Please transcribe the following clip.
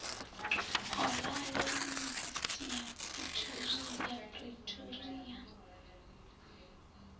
khorale ya yunivesithi ya pretoria